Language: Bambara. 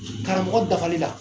Karamɔgɔ dafali la